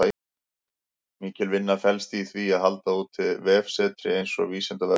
Mikil vinna felst í því að halda úti vefsetri eins og Vísindavefnum.